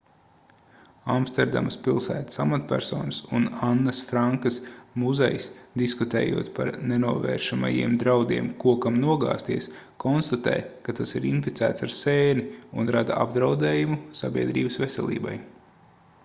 amsterdamas pilsētas amatpersonas un annas frankas muzejs diskutējot par nenovēršamajiem draudiem kokam nogāzties konstatē ka tas ir inficēts ar sēni un rada apdraudējumu sabiedrības veselībai